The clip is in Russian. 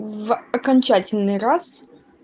в окончательный раз